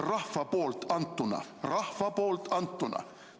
Rahva antud mandaat!